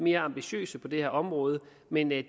mere ambitiøse på det her område men det